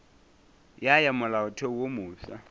ya ya molaotheo wo mofsa